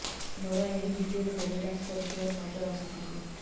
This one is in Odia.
ନୋରା ଏହି ଭିଡିଓରେ ବେଲି ଡ୍ୟାନ୍ସ କରୁଥିବାର ନଜର ଆସୁଛନ୍ତି